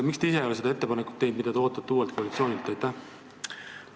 Miks te ise ei ole teinud seda ettepanekut, mida te uuelt koalitsioonilt ootate?